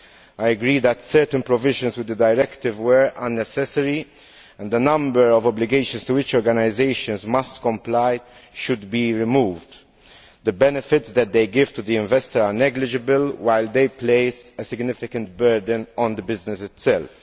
I agree that certain provisions within the directive were unnecessary and a number of obligations to which organisations must comply should be removed. The benefits that they give to the investor are negligible, while they place a significant burden on the business itself.